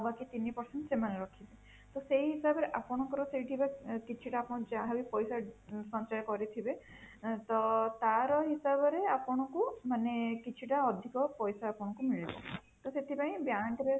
ଆଉ ବାକି ତିନି percent ସେମାନେ ରଖିବେ ତ ସେଇ ହିସାବରେ ଆପଣଙ୍କର ସେଇଥିରେ କିଛି ଟା ଆପଣ ଯାହା ବି ପଇସା ସଞ୍ଚୟ କରିଥିବେ ତ ତା ର ହିସାବ ରେ ଆପଣଙ୍କୁ ମାନେ କିଛି ଟା ଅଧିକ ପଇସା ଆପଣଙ୍କୁ ମିଳିବ ତ ସେଥିପାଇଁ bank ରେ